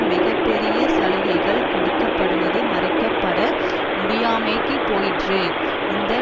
மிக பெரிய சலுகைகள் கொடுக்க படுவது மறைக்கப்பட முடியாமற் போயிற்று இந்த